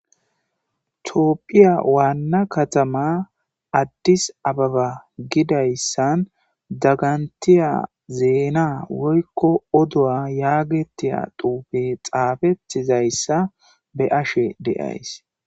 Tophphiya waana kaatama Addis Ababa gidayssan dagantiya zeena woykko yagetiya oodo xaafetizayssa be'ashe de'iayssi